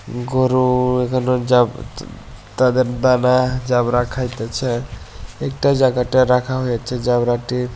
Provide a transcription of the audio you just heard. গরু এখানে যাব তাদের দানা যাবড়া খাইতেছে একটা জায়গাটা রাখা হয়েছে যাবড়াটির--